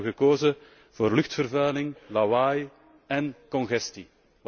Daar hebben we gekozen voor luchtvervuiling, lawaai en congestie.